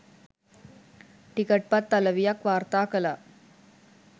ටිකට්පත් අලවියක් වාර්තා කළා.